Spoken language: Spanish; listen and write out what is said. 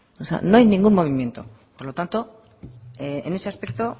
no hay ningún movimiento por lo tanto en ese aspecto